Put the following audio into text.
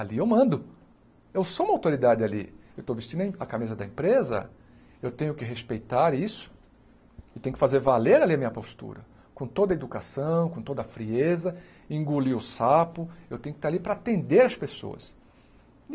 Ali eu mando, eu sou uma autoridade ali, eu estou vestindo em a camisa da empresa, eu tenho que respeitar isso, eu tenho que fazer valer ali a minha postura, com toda a educação, com toda a frieza, engolir o sapo, eu tenho que estar ali para atender as pessoas.